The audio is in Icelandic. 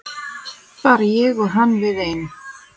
Bara ég og hann við ein.